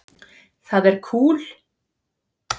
Það er kúl.